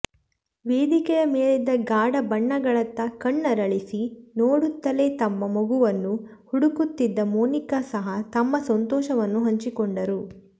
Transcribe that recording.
ವೇದಿಕೆಯ ಮೇಲಿದ್ದ ಗಾಢ ಬಣ್ಣಗಳತ್ತ ಕಣ್ಣರಳಿಸಿ ನೋಡುತ್ತಲೇ ತಮ್ಮ ಮಗುವನ್ನು ಹುಡುಕುತ್ತಿದ್ದ ಮೋನಿಕಾ ಸಹ ತಮ್ಮ ಸಂತೋಷವನ್ನು ಹಂಚಿಕೊಂಡರು